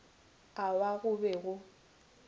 a wa go be go